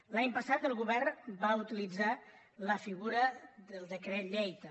l’any passat el govern va utilitzar la figura del decret llei també